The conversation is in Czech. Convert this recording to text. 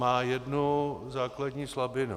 Má jednu základní slabinu.